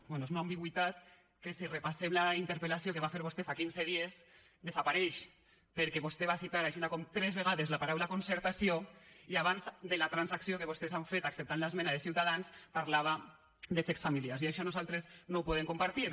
bé és una ambigüitat que si repassem la interpel·lació que va fer vostè fa quinze dies desapareix perquè vostè va citar així com tres vegades la paraula concertació i abans de la transacció que vostès han fet acceptant l’esmena de ciutadans parlava de xecs familiars i això nosaltres no ho podem compartir